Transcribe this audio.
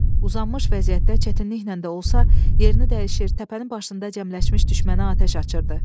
Uzamış vəziyyətdə çətinliklə də olsa yerini dəyişir, təpənin başında cəmləşmiş düşmənə atəş açırdı.